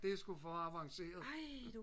det er sgu for avanceret